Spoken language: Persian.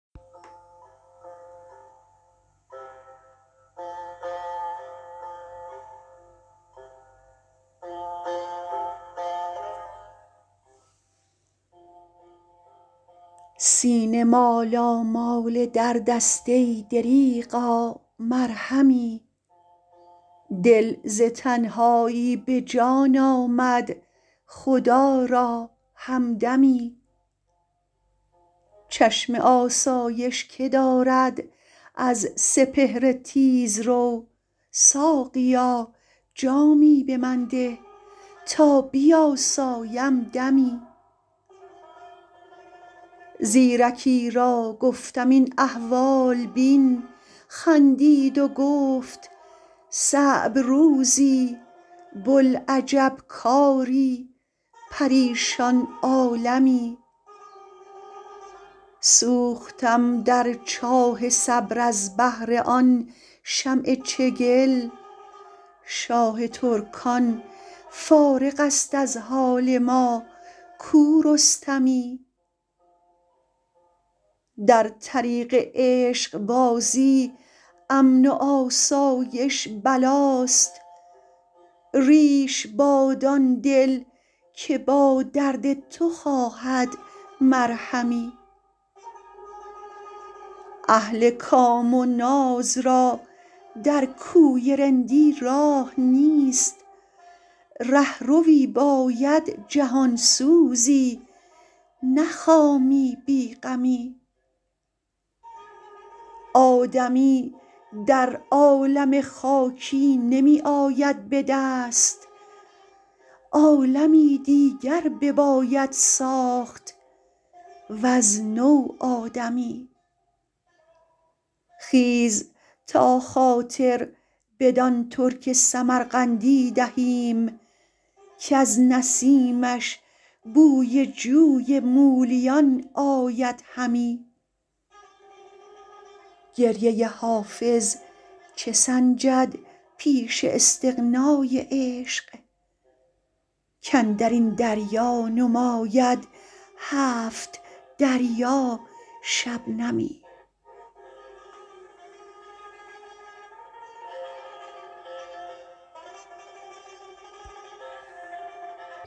سینه مالامال درد است ای دریغا مرهمی دل ز تنهایی به جان آمد خدا را همدمی چشم آسایش که دارد از سپهر تیزرو ساقیا جامی به من ده تا بیاسایم دمی زیرکی را گفتم این احوال بین خندید و گفت صعب روزی بوالعجب کاری پریشان عالمی سوختم در چاه صبر از بهر آن شمع چگل شاه ترکان فارغ است از حال ما کو رستمی در طریق عشق بازی امن و آسایش بلاست ریش باد آن دل که با درد تو خواهد مرهمی اهل کام و ناز را در کوی رندی راه نیست رهروی باید جهان سوزی نه خامی بی غمی آدمی در عالم خاکی نمی آید به دست عالمی دیگر بباید ساخت وز نو آدمی خیز تا خاطر بدان ترک سمرقندی دهیم کز نسیمش بوی جوی مولیان آید همی گریه حافظ چه سنجد پیش استغنای عشق کاندر این دریا نماید هفت دریا شبنمی